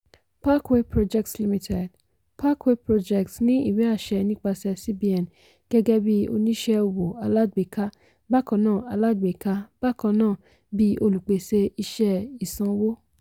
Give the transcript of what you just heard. parkway projects limited: parkway projects ní ìwé-àṣẹ nípasẹ̀ cbn gẹgẹ́ bí oníṣẹ́ owó alágbèéká bákannáà alágbèéká bákannáà bí olùpèsè iṣẹ́ ìsanwó.